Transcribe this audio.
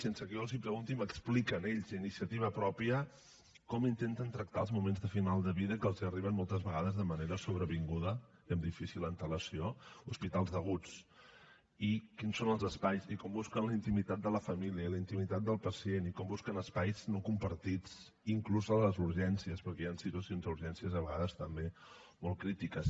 sense que jo els ho pregunti m’expliquen ells d’iniciativa pròpia com intenten tractar els moments de final de vida que els arriben moltes vegades de manera sobrevinguda i amb difícil antelació hospitals d’aguts i quins són els espais i com busquen la intimitat de la família la intimitat del pacient i com busquen espais no compartits inclús en les urgències perquè hi han situacions a urgències a vegades també molt crítiques